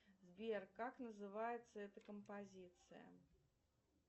сбер как называется эта композиция